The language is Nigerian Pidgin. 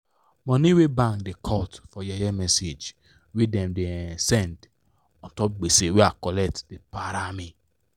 money wey bank da cut for yeye message wey dem da um send untop gbese wey i collect da para me